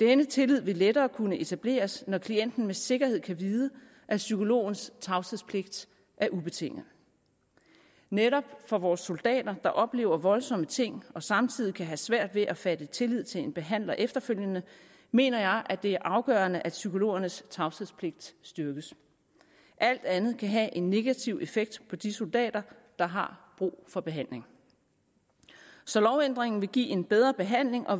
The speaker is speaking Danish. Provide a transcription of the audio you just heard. denne tillid vil lettere kunne etableres når klienten med sikkerhed kan vide at psykologens tavshedspligt er ubetinget netop for vores soldater der oplever voldsomme ting og samtidig kan have svært ved at fatte tillid til en behandler efterfølgende mener jeg at det er afgørende at psykologernes tavshedspligt styrkes alt andet kan have en negativ effekt på de soldater der har brug for behandling så lovændringen vil give en bedre behandling og